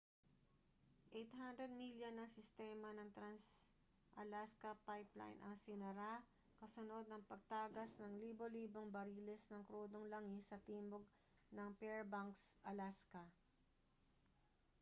800 milya ng sistema ng trans-alaska pipeline ang isinara kasunod ng pagtagas ng libo-libong bariles ng krudong langis sa timog ng fairbanks alaska